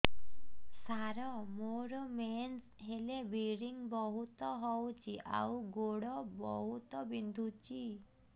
ସାର ମୋର ମେନ୍ସେସ ହେଲେ ବ୍ଲିଡ଼ିଙ୍ଗ ବହୁତ ହଉଚି ଆଉ ଗୋଡ ବହୁତ ବିନ୍ଧୁଚି